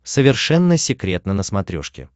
совершенно секретно на смотрешке